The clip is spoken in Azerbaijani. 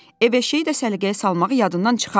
Ev eşiyi də səliqəyə salmağı yadından çıxarma.